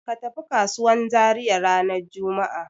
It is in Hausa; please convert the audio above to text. Ka tafi kasuwan Zariya ranar juma'a.